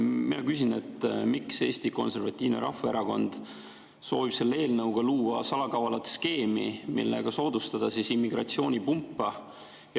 Mina küsin, miks Eesti Konservatiivne Rahvaerakond soovib selle eelnõuga luua salakavalat skeemi, millega soodustada immigratsioonipumpa.